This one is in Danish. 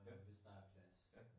Hvem. Ja